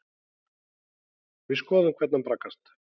Við skoðum hvernig hann braggast.